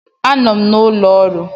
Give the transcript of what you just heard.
Anọ m n'ụlọ ọrụ.